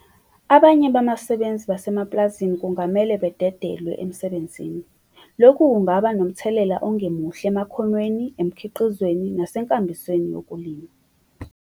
Abanye babasebenzi basemapulazini kungamele badedelwe emsebenzin. Lokhu kungaba nomthelela ongemuhle emakhonweni, emkhiqizweni nasenkambisweni yokulima.